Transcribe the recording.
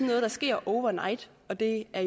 noget der sker over night og det er